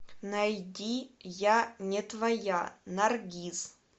найди я не твоя наргиз